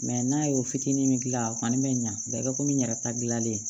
n'a y'o fitinin min gilan a kɔni bɛ ɲa kɛ komi n yɛrɛ ta gilannen